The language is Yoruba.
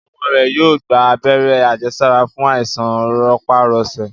ọmọ rẹ yóò gba Abẹ́rẹ́ àjẹsára fún Àìsàn rọpárọsẹ